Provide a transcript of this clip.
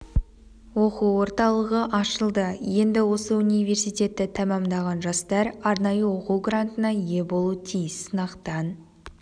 оқу орталығы ашылды енді осы университетті тәмамдаған жастар арнайы оқу грантына ие болуы тиіс сынақтан